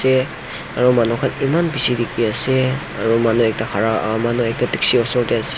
te aro manu khan eman bishi dikhiase aru manu ekta khara ah manu ekta dikji osor tae--